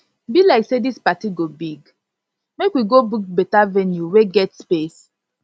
be like say this party go big make we go book beta venue wey get space